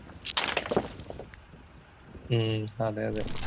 ഉം അതേയതെ